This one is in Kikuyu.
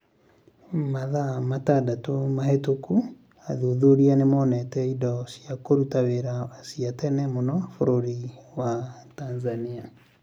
Mathaa matandatũ mahĩtũku athuthuria nĩ monete indo cia kũruta wĩra cia tene mũno bũrũri wa Tanzania.